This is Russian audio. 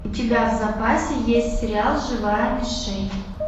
у тебя в запасе есть сериал живая мишень